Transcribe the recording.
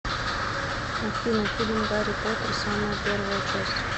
афина фильм гарри потер самая первая часть